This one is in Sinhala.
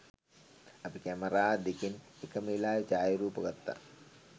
අපි කැමරා දෙකෙන් එකම වෙලාවේ ඡායරූප ගත්තා.